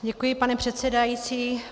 Děkuji, pane předsedající.